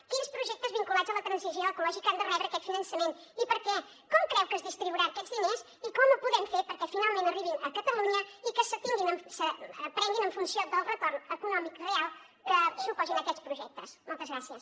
quins projectes vinculats a la transició ecològica han de rebre aquest finançament i per què com creu que es distribuiran aquests diners i com ho podem fer perquè finalment arribin a catalunya i que es prenguin en funció del retorn econòmic real que suposin aquests projectes moltes gràcies